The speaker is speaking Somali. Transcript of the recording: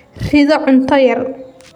Ridhoo cunto yar.